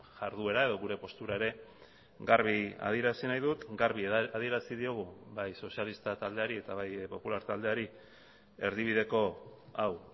jarduera edo gure postura ere garbi adierazi nahi dut garbi adierazi diogu bai sozialista taldeari eta bai popular taldeari erdibideko hau